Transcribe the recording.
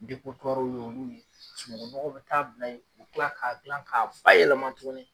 w y'olu ye, sunuŋun nɔgɔw bɛ taa bila yen. u tila k'a dilan k'a fa yɛlɛma tuguni.